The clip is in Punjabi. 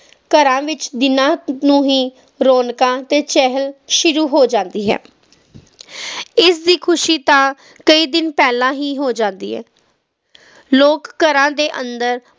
ਘਰਾਂ ਵਿਚ ਦੀਨਾ ਨੂੰ ਹੀ ਰੌਣਕਾਂ ਤੇ ਚਹਿਲ ਸ਼ੁਰੂ ਹੋ ਜਾਂਦੀ ਹੈ ਇਸਦੀ ਖੁਸ਼ੀ ਤਾ ਕੁਜ ਦਿਨ ਪਹਿਲਾਂ ਹੋ ਜਾਂਦੀ ਹੈ ਲੋਕ ਘਰਾਂ ਦੇ ਅੰਦਰ